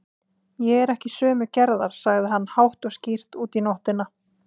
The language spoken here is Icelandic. Ég er ekki sömu gerðar, sagði hann hátt og skýrt út í nóttina.